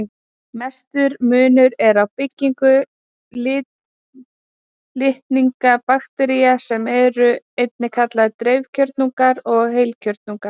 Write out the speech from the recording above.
Mestur munur er á byggingu litninga baktería, sem eru einnig kallaðar dreifkjörnungar, og heilkjörnunga.